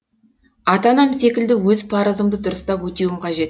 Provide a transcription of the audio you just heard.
ата анам секілді өз парызымды дұрыстап өтеуім қажет